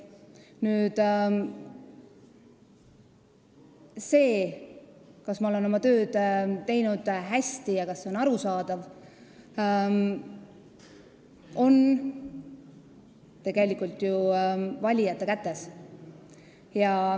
Selle üle otsustamine, kas ma olen oma tööd teinud hästi ja kas see on olnud arusaadav, on tegelikult ju valijate kätes.